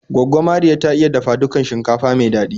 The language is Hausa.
Gwaggo Mariya ta iya dafa dukan shinkafa mai daɗi